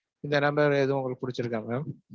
இந்த number ல ஏதும் உங்களுக்கு புடிச்சிருக்கா mam?